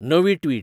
Navi tweet